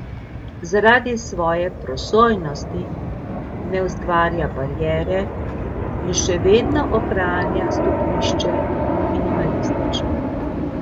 Zaradi svoje prosojnosti ne ustvarja bariere in še vedno ohranja stopnišče minimalistično.